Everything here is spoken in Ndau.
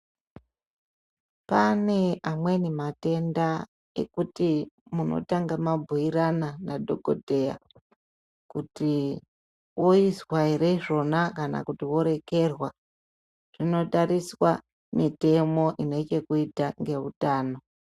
Pane amweni matenda ekuti munotanga mabhuirana nadhokodheya kuti oizwa ere zvona kana orekerwa. Zvinotariswa mitemo ine chekuite neutano.